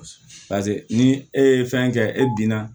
ni e ye fɛn kɛ e binna